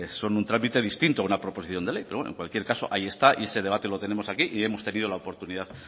son un trámite distinto a una proposición de ley pero en cualquier caso ahí está y ese debate lo tenemos aquí y hemos tenido la oportunidad de